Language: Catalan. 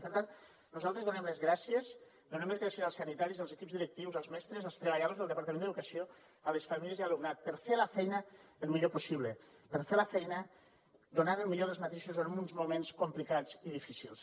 i per tant nosaltres donem les gràcies donem les gràcies als sanitaris i als equips directius als mestres als treballadors del departament d’educació a les famílies i a l’alumnat per fer la feina el millor possible per fer la feina donant el millor d’ells mateixos en uns moments complicats i difícils